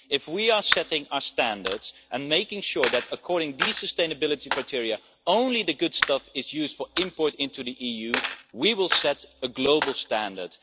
If we set our standards and make sure that according to these sustainability criteria only the good stuff is used for import into the EU, we will set a global standard.